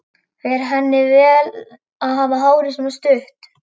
Fer henni vel að hafa hárið svona stutt.